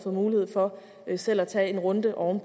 mulighed for selv at tage en runde om